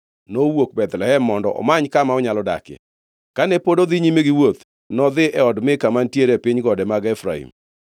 nowuok Bethlehem mondo omany kama onyalo dakie. Kane pod odhi nyime gi wuoth, nodhi e od Mika mantiere e piny gode mag Efraim.